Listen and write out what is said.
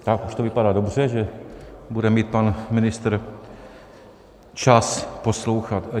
Tak, už to vypadá dobře, že bude mít pan ministr čas poslouchat.